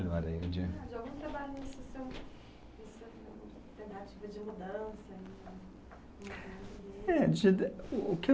É, de e algum trabalho, alternativa de mudança? É, de o que eu